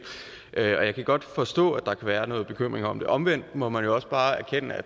og jeg kan godt forstå at der kan være noget bekymring om det omvendt må man jo også bare erkende at